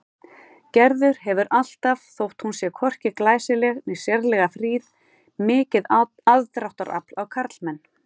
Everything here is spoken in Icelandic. Gerður hefur alltaf, þótt hún sé hvorki glæsileg né sérlega fríð, mikið aðdráttarafl á karlmenn.